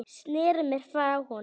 Sneri mér frá honum.